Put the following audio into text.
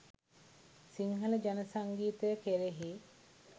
සිංහල ජන සංගීතය කෙරෙහි